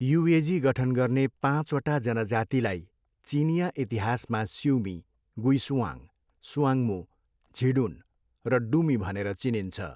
युएजी गठन गर्ने पाँचवटा जनजातिलाई चिनियाँ इतिहासमा सिउमी, गुइसुआङ, सुआङ्मो, झिडुन र डुमी भनेर चिनिन्छ।